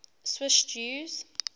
swiss jews